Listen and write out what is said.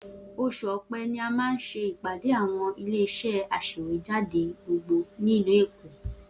Oṣù Ọ̀pẹ ni a máa ṣe ìpàdé àwọn ilé-iṣẹ́ aṣèwéjádé gbogbo ní ìlú Èkó.